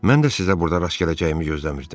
Mən də sizə burda rast gələcəyimi gözləmirdim.